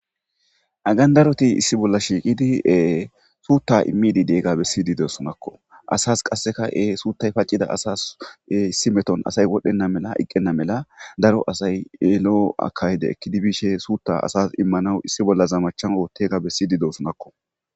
Hagan daroti issi bolla shiiqidi suutta immididega bessidi desonakko asas qasseka e suuttay pacida asas issi meton asay wodhdhenna mela iqqenna mela daro asay yelo7o akayde ekkidi biishe suutta asas immanawu issi bolla zamachan oottega bessidi deosonakko